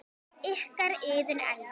Ykkar, Iðunn Elfa.